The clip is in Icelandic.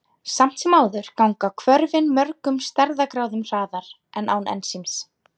Samt sem áður ganga hvörfin mörgum stærðargráðum hraðar en án ensíms.